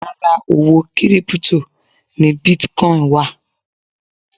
Ara owó kírípútò ni bitcon wà